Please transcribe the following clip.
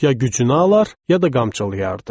Ya gücünü alar, ya da qamçılayardı.